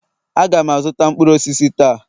Aga m azụta mkpụrụ osisi taa